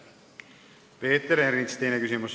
Peeter Ernits, teine küsimus.